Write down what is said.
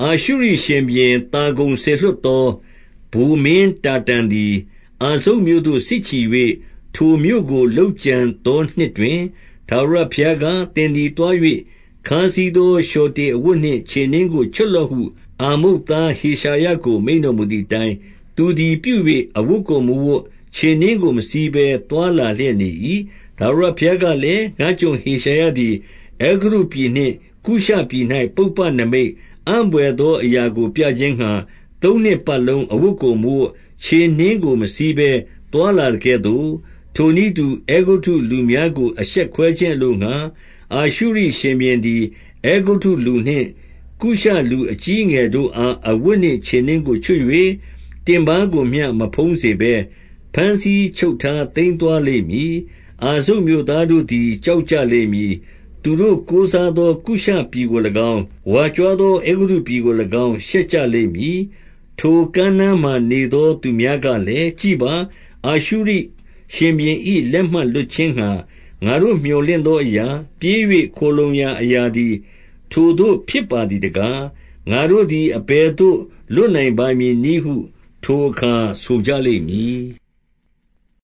အာရှုရိရှင်ဘုရင်သာဂုန်စေလွှတ်သော ဗိုလ် မင်းတာတန်သည် အာဇုတ်မြို့သို့စစ်ချီ၍၊ ထိုမြို့ကို လုပ် ကြံသော နှစ်တွင် 2 ထာဝရဘုရားက၊ သင်သည်သွား၍ ခါးစည်း သော လျှော်တေအဝတ်နှင့် ခြေနင်းကိုချွတ်လော့ဟု၊ အာမုတ်သားဟေရှာယကို မိန့်တော်မူသည်အတိုင်း၊ သူ သည် ပြု၍ အဝတ်ကို မဝတ်၊ ခြေနင်းကိုမစီးဘဲ သွားလာ လျက်နေ၏။ 3 ထာဝရဘုရားကလည်း၊ ငါ့ကျွန်ဟေရှာယသည် အဲဂုတ္တုပြည်နှင့် ကုရှပြည်၌ ပုပ္ပနိမိတ်၊ အံ့ဘွယ်သော အရာကိုပြခြင်းငှါ၊ သုံးနှစ်ပတ်လုံး အဝတ်ကိုမဝတ်၊ ခြေနင်းကိုမစီးဘဲ သွားလာသကဲ့သို့၊ 4 ထိုနည်းတူ၊အဲဂုတ္တုလူများကို အရှက်ခွဲခြင်း အလိုငှါ၊ အာရှုရိရှင်ဘုရင်သည် အဲဂုတ္တုလူနှင့် ကုရှ လူအကြီးအငယ်တို့အား အဝတ်နှင့် ခြေနင်းကို ချွတ်၍၊ တင်ပါးကိုမျှ မဖုံးစေဘဲ၊ ဘမ်းဆီးချုပ်ထား သိမ်းသွား လိမ့်မည်။ 5 အာဇုတ်မြို့သားတို့သည် ကြောက်ကြလိမ့်မည်။ သူတို့ ကိုးစားသော ကုရှပြည်ကို၎င်း၊ ဝါကြွားသော အဲဂုတ္တုပြည်ကို၎င်း ရှက်ကြလိမ့်မည်။ 6 ထိုကမ်းနားမှာ နေသောသူများကလည်း၊ ကြည့်ပါ၊ အာရှုရိရှင်ဘုရင်၏ လက်မှလွတ်ခြင်းငှါ ငါတို့ မြော်လင့်ရာအရာ၊ ပြေး၍ခိုလှုံရာအရာသည် ထိုသို့ဖြစ်ပါ သည်တကား။ ငါတို့သည် အဘယ်သို့ လွတ်နိုင်ပါမည် နည်းဟု ထိုအခါဆိုကြလိမ့်မည်။